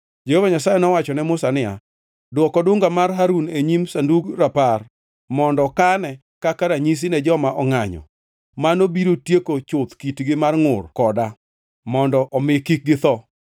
Jehova Nyasaye nowacho ne Musa niya, “Dwok odunga mar Harun e nyim Sandug Rapar, mondo kane kaka ranyisi ne joma ongʼanyo. Mano biro tieko chuth kitgi mar ngʼur koda, mondo omi kik githo.”